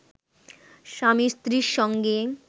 স্বামী স্ত্রীর সঙ্গে